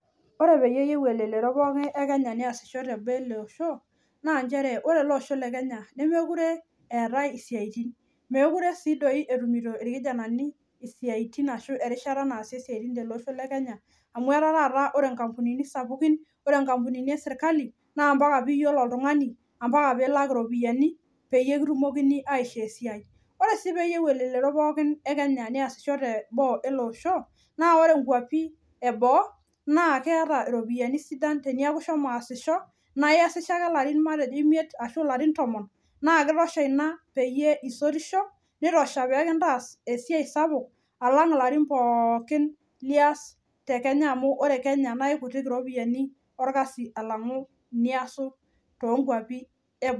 Ore pee eyieu elelero e kenya neyasisho teboo ele Osho naa nchere ore ele Osho Le kenya nemeekure eetae isiatin nemeekure sii doi etumito irkijanani isiatin Ashu erishata naasie isiaitin amu ore nkampunini kumok